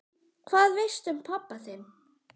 Hvað veistu um pabba þinn?